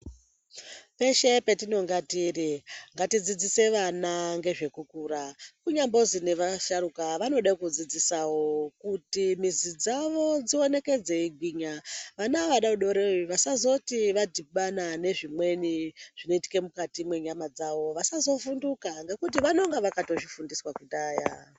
Peshe petinonga tiri ngatidzidzise vana ngezvekukura. Kunyambozi nevasharuka vanode kudzidzisavo kuti mizi dzavo dzioneke dzeigwinya. Vana vadodori vasazoti vadhibana nezvimweni zvinoitike mukati menyama dzavo vasavhunduka. Ngekuti vanonga vakatozvifundiswa kudhaya.